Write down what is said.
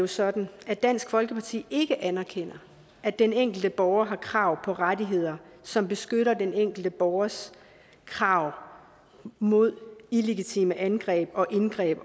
sådan at dansk folkeparti ikke anerkender at den enkelte borger har krav på rettigheder som beskytter den enkelte borgers krav mod illegitime angreb og indgreb